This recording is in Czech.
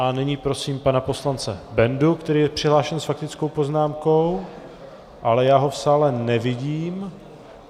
A nyní prosím pana poslance Bendu, který je přihlášen s faktickou poznámkou, ale já ho v sále nevidím...